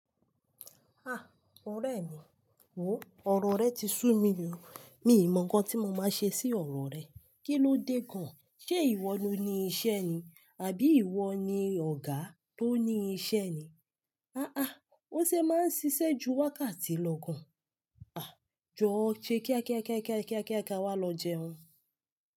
Ah! Ọ̀rẹ́ mi. Wo, ọ̀rọ rẹ ti sú mi lo. Mi ò mo ǹkan tí mo má ṣe sí ọ̀rọ̀ rẹ. Kíló dé gan. Ṣé ìwọ lo ní iṣẹ́ ni, àbí ìwọ ni ọ̀gá tó ní iṣẹ́ ni? Ah ah! Ó ṣe máa ń ṣiṣẹ́ jù wákàtí lọgan. Ah! Jọ ṣe kíákíá kíákíá kíákíá káwa lọ̀ jẹ́un.